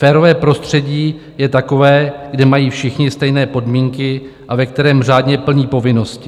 Férové prostředí je takové, kde mají všichni stejné podmínky a ve kterém řádně plní povinnosti.